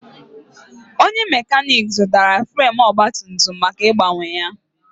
Onye mekanik zụtara fremu ogbatumtum maka ịgbanwe ya.